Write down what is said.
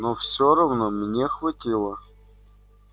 но всё равно мне хватило